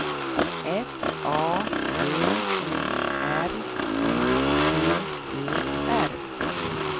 F A V O R I T E R